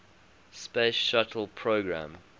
space shuttle program